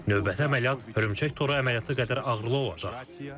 Növbəti əməliyyat hörümçək toru əməliyyatı qədər ağırlı olacaq.